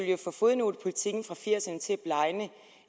jo få fodnotepolitikken fra nitten firs ’erne til